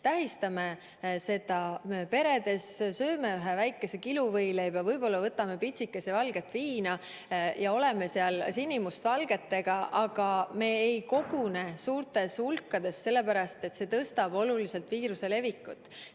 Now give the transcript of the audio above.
Tähistame seda peredes, sööme ühe väikese kiluvõileiva, võtame pitsikese valget viina ja oleme seal sinimustvalgetega, aga me ei kogune suurtes hulkades, sellepärast et see suurendab oluliselt viiruse levikut.